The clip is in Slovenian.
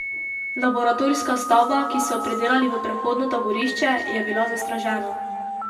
Laboratorijska stavba, ki so jo predelali v prehodno taborišče, je bila zastražena.